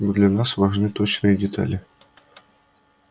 но для нас важны точные детали